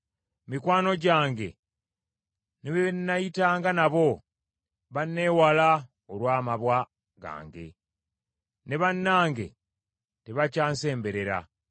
Mikwano gyange ne be nayitanga nabo banneewala olw’amabwa gange; ne bannange tebakyansemberera.